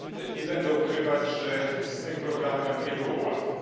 Nie będę ukrywał, że z tym programem nie było łatwo.